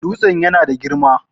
Dutsen yana da girma